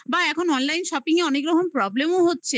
বা এখন online shopping এ অনেক রকম problem ও